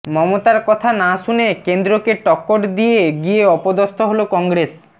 মমতার কথা না শুনে কেন্দ্রকে টক্কর দিয়ে গিয়ে অপদস্থ হল কংগ্রেস